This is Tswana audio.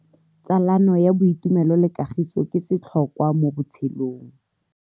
Tsalano ya boitumelo le kagiso ke setlhokwa mo botshelong.